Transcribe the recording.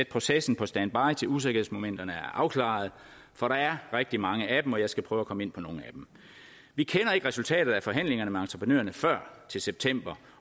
processen på standby til usikkerhedsmomenterne er afklaret for der er rigtig mange af dem og jeg skal prøve at komme ind på nogle af dem vi kender ikke resultatet af forhandlingerne med entreprenørerne før til september